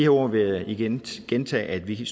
ord vil jeg igen gentage at vi